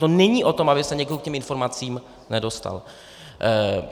To není o tom, aby se někdo k těm informacím nedostal.